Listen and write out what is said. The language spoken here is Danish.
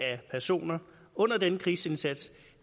af personer under denne krigsindsats